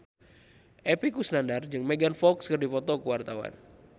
Epy Kusnandar jeung Megan Fox keur dipoto ku wartawan